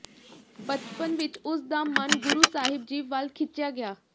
ਬਚਪਨ ਵਿਚ ਉਸ ਦਾ ਮਨ ਗੁਰੂ ਸਾਹਿਬ ਜੀ ਵੱਲ ਖਿੱਚਿਆ ਗਿਆ